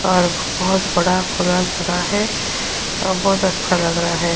और बोहोत बड़ा खुला जगह है और बोहोत अच्छा लग रहा है।